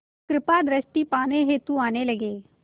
कृपा दृष्टि पाने हेतु आने लगे